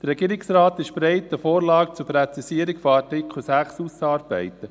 Der Regierungsrat ist bereit, eine Vorlage zur Präzisierung von Artikel 6 auszuarbeiten.